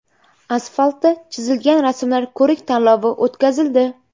Asfaltda chizilgan rasmlar ko‘rik-tanlovi o‘tkazildi.